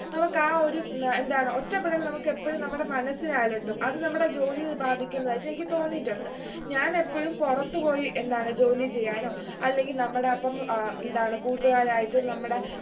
നമുക്ക് ആ ഒരു ഉം എന്താണ് ഒറ്റപ്പെടൽ നമുക്ക് എപ്പോഴും നമ്മുടെ മനസ്സിനെ അലട്ടും അത് നമ്മുടെ ജോലിയിൽ ബാധിക്കുന്നതായിട്ട് എനിക്ക് തോന്നിയിട്ടുണ്ട് ഞാൻ എപ്പോഴും പൊറത്ത് പോയി എന്താണ് ജോലി ചെയ്യാനോ അല്ലെങ്കിൽ നമ്മടപ്പം എന്താണ് കൂട്ടുകാരായിട്ടും നമ്മടെ